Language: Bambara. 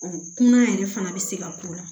kunna yɛrɛ fana bi se ka k'u la